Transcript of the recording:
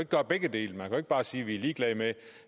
gøre begge dele man kan bare sige at vi er ligeglade med